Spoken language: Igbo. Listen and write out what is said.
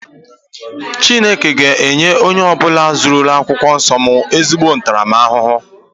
Chineke ga enye onye ọbula zuru akwụkwọ nsọ m ezigbo ntaramahụhụ.